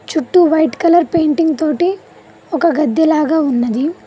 చుట్టూ white colour painting తోటి ఒక గద్ది లాగా ఉన్నది.